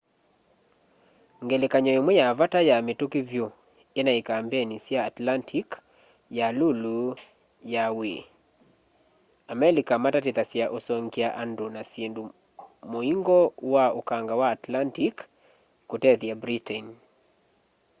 ngelekany'o imwe ya vata ya mituki vyu inai kambeni sya atlantic ya iulu ya wwii a amelika matatithasya usongya andu na syindu muingo wa ukanga wa atlantic kutethya britain